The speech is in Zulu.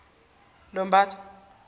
lobatha